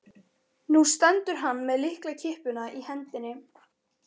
Nú stendur hann með lyklakippuna í hendinni.